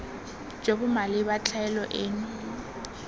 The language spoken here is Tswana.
jo bo maleba tlhaelo eno